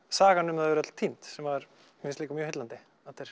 sagan um þau er öll týnd sem mér finnst líka mjög heillandi